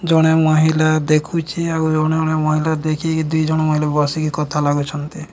ଜଣେ ମହିଲା ଦେଖୁଛେ ଆଉ ଜଣେ ମ ମହିଲା ଦେଖିକି ଦିଜଣ ମହିଲା ବସିକି କଥା ଲାଗୁଛନ୍ତି।